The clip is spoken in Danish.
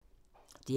DR P2